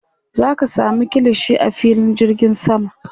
zaka samu kilishi a filin jirgin sama